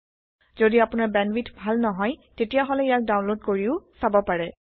যদি আপোনাৰ বেণ্ডৱিডথ ভাল নহয় তেতিয়াহলে ইয়াক ডাউনলোড কৰিও চাব পাৰে